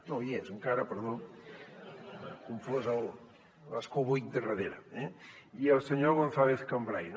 no hi és encara perdó he confós l’escó buit de darrere eh i al senyor gonzàlez cambray